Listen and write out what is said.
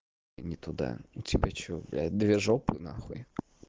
не туда у тебя что блять две жопы нахуй